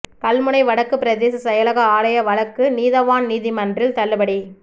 கல்முனை வடக்கு பிரதேச செயலக ஆலய வழக்கு நீதவான் நீதிமன்றில் தள்ளுபடி